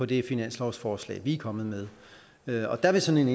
det finanslovsforslag vi er kommet med og der vil sådan